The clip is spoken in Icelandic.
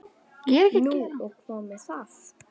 Nú og hvað með það?